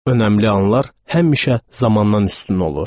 Öməmli anlar həmişə zamandan üstün olur.